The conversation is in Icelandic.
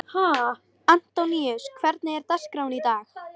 Antoníus, hvernig er dagskráin í dag?